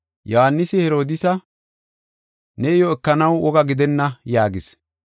Yohaanisi Herodiisa, “Ne iyo ekanaw woga gidenna” yaagis.